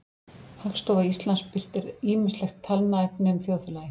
Hagstofa Íslands birtir ýmislegt talnaefni um þjóðfélagið.